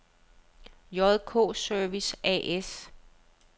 JK Service A/S